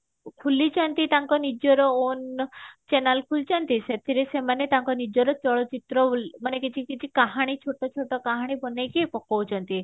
ଖୋଲିଛନ୍ତି ତାଙ୍କ ନିଜର own channel ଖୋଲିଛନ୍ତି ସେଥିରେ ସେମାନେ ତାଙ୍କ ନିଜର ଚଳଚିତ୍ର ଉଲ୍ଲେ ମାନେ କିଛି କିଛି କାହାଣୀ ଛୋଟ ଛୋଟ କାହାଣୀ ବନେଇକି ପକଉଛନ୍ତି